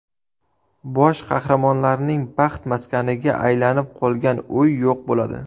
Bosh qahramonlarning baxt maskaniga aylanib qolgan uy yo‘q bo‘ladi.